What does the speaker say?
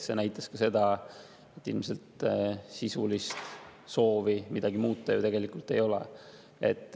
See näitab ka seda, et ilmselt sisulist soovi midagi muuta ju tegelikult ei ole.